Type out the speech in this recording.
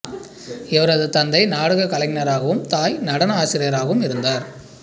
இவரது தந்தை நாடகக் கலைஞராகவும் தாய் நடன ஆசிரியராகவும் இருந்தார்